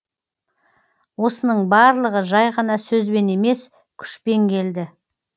осының барлығы жай ғана сөзбен емес күшпен келді